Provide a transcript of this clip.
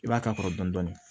I b'a k'a kɔrɔ dɔni dɔni